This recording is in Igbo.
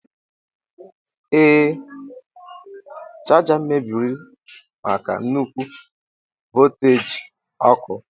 Ee, chaja mebiri maka nnukwu volteji ọkụ.